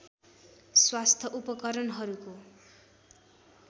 स्वास्थ्य उपकरणहरूको